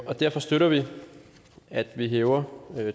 og derfor støtter vi at man hæver